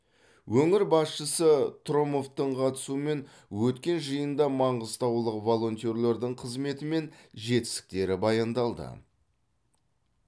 өңір басшысы трұмовтың қатысуымен өткен жиында маңғыстаулық волонтерлердің қызметі мен жетістіктері баяндалды